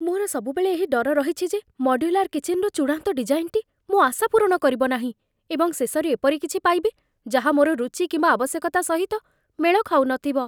ମୋର ସବୁବେଳେ ଏହି ଡର ରହିଛି ଯେ ମଡ୍ୟୁଲାର କିଚେନ୍‌ରେ ଚୂଡାନ୍ତ ଡିଜାଇନ୍‌ଟି ମୋ ଆଶା ପୂରଣ କରିବ ନାହିଁ, ଏବଂ ଶେଷରେ ଏପରି କିଛି ପାଇବି, ଯାହା ମୋର ରୁଚି କିମ୍ବା ଆବଶ୍ୟକତା ସହିତ ମେଳ ଖାଉନଥିବ।